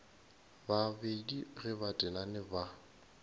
babedi ge ba tenane ba